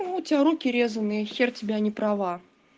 у тебя руки резаные х ко тебе а не права